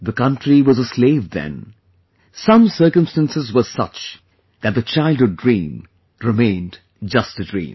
The country was a slave then, some circumstances were such that the childhood dream remained just a dream